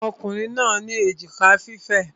Àwọn Ọkùnrin ní èjìká fífẹ̀.